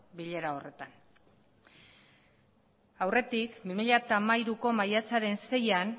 bilera horretan aurretik bi mila hamairuko maiatzaren seian